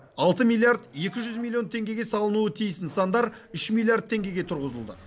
алты миллиард екі жүз миллион теңгеге салынуы тиіс нысандар үш миллиард теңгеге тұрғызылды